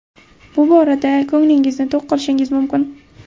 Bu borada ko‘nglingizni to‘q qilishingiz mumkin.